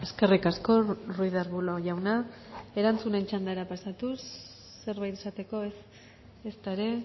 eskerrik asko ruiz de arbulo jauna erantzunen txandara pasatuz zerbait esateko ez ezta ere